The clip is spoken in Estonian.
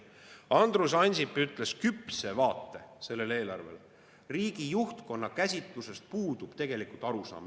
Andrus Ansip ütles, küpset vaadet sellele eelarvele, et riigi juhtkonna käsitlusest puudub tegelikult arusaam …